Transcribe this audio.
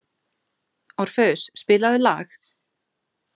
Orfeus, spilaðu lag.